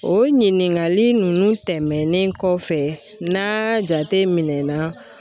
O ɲininkali ninnu tɛmɛnen kɔfɛ n'a jate minɛn na.